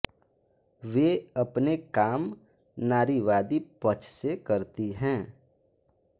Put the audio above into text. वे अपने काम नारीवादी पक्ष से करती है